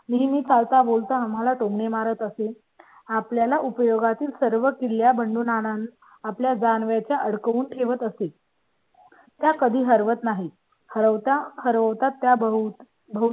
मी चालतां बोलतां आम्हाला टोमणे मारत असेल. आपल्या ला उपयोगा तील सर्व किल्ल्यांवरून आपल्या ला अडकव लं असेल. त्या कधी हरवत नाही. हरवता हरवता त्या बहुत